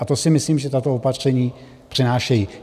A to si myslím, že tato opatření přinášejí.